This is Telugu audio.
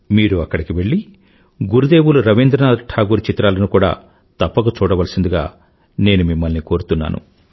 మీరు అక్కడికి వెళ్ళి గురుదేవులు రవీంద్రనాథ ఠాగూర్ చిత్రాలను కూడా తప్పక చూడవలసిందిగా నేను మిమ్మల్ని కోరుతున్నను